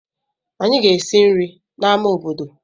Anyị ga-esi nri n'amá obodo.